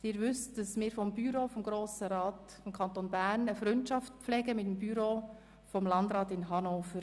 Wie Sie wissen, pflegt das Büro des Grossen Rats des Kantons Bern eine Freundschaft mit dem Büro des Landrats in Hannover.